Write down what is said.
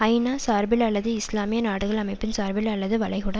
ஐநாசார்பில் அல்லது இஸ்லாமிய நாடுகள் அமைப்பின் சார்பில் அல்லது வளைகுடா